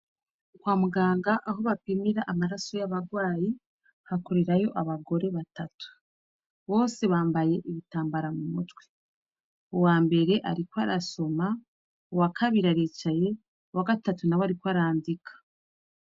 Kwa muganga aho bapimira amaraso y' abarwayi, hakorerayo abagore batatu. Bose bambaye ibitambara mu mutwe . Uwa mbere ariko arasoma, uwa kabiri aricaye, uwa gatatu ariko arandika.